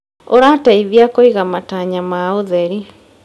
ũrateithia kũiga matanya ma ũtheri.